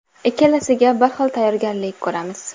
Ikkalasiga bir xil tayyorgarlik ko‘ramiz.